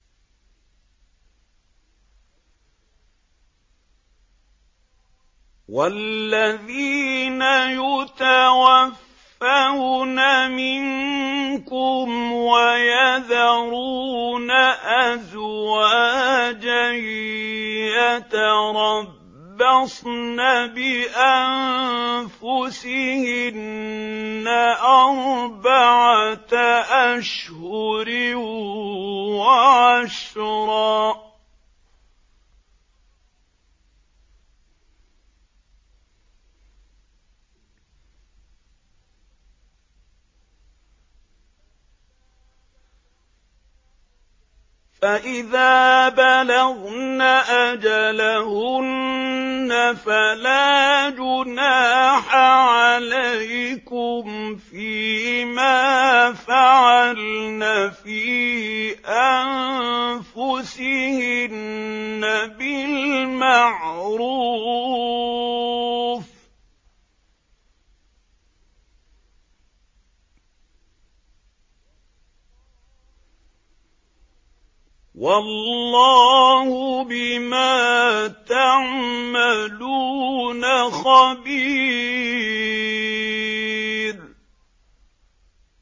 وَالَّذِينَ يُتَوَفَّوْنَ مِنكُمْ وَيَذَرُونَ أَزْوَاجًا يَتَرَبَّصْنَ بِأَنفُسِهِنَّ أَرْبَعَةَ أَشْهُرٍ وَعَشْرًا ۖ فَإِذَا بَلَغْنَ أَجَلَهُنَّ فَلَا جُنَاحَ عَلَيْكُمْ فِيمَا فَعَلْنَ فِي أَنفُسِهِنَّ بِالْمَعْرُوفِ ۗ وَاللَّهُ بِمَا تَعْمَلُونَ خَبِيرٌ